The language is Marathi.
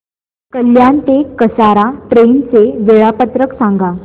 कल्याण ते कसारा ट्रेन चे वेळापत्रक सांगा